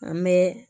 An bɛ